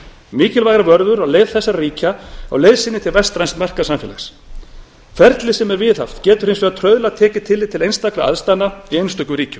mikilvægar vörður á leið þessara ríkja á leið sinni til vestræns markaðssamfélags ferlið sem er viðhaft getur hins vegar trauðla tekið tillit til sérstakra aðstæðna í einstökum ríkjum